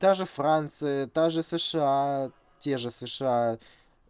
та же франция та же сша те же сша